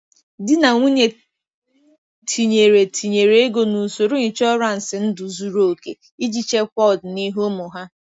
Di na nwunye tinyere tinyere ego n'usoro ịnshọransị ndụ zuru oke iji chekwa ọdịnihu ụmụ ha.